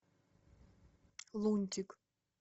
лунтик